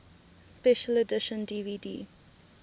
special edition dvd